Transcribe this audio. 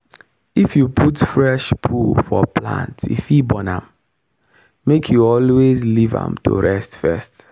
if you put fresh poo for plant e fit burn am. make you always leave am to rest first.